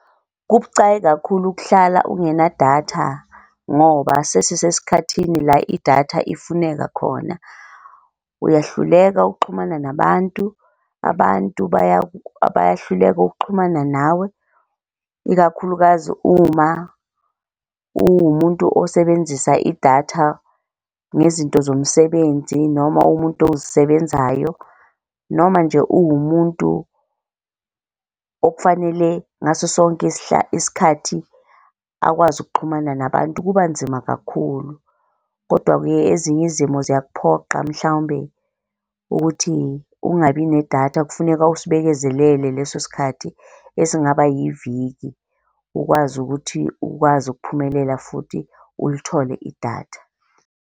Kubucayi kakhulu ukuhlala ungenadatha ngoba sisesikhathini la idatha ifuneka khona. Uyahluleka ukuxhumana nabantu, abantu bayahluleka ukuxhumana nawe, ikakhulukazi uma uwumuntu osebenzisa idatha ngezinto zomsebenzi noma umuntu ozisebenzayo noma nje uwumuntu okufanele ngaso sonke isikhathi akwazi ukuxhumana nabantu kuba nzima kakhulu. Kodwa-ke ezinye izimo ziyakuphoqa mhlawumbe ukuthi ungabi nedatha, kufuneka usibekezelele leso sikhathi esingaba yiviki, ukwazi ukuthi ukwazi ukuphumelela futhi ulithole idatha.